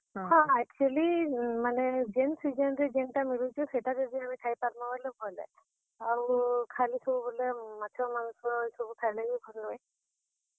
ହଁ, actually ମାନେ ଯେନ୍ season ରେ ଯେନ ଟା ମିଲୁଛେ ସେଟା ଯଦି ଆମେ ଖାଇ ପାର୍ ମା ବେଲେ ଭଲ ଆଏ, ଆଉ ଖାଲି ସବୁବେଲେ ମାଛ, ମାଂସ ସବୁ ଖାଏଲେ ବି ଭଲ୍ ନୁହେ।